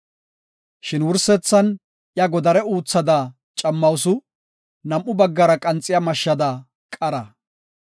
Shin wursethan iya godare uthada cammawusu; nam7u baggara qanxiya mashshada qara.